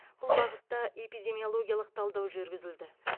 бұл бағытта эпидемиологиялық талдау жүргізілді